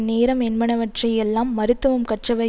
நேரம் என்பனவற்றை எல்லாம் மருத்துவம் கற்றவை